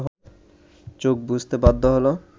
চোখ বুজতে বাধ্য হলো